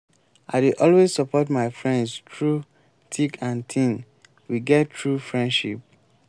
i dey always support my friends through thick and thin we get true friendship.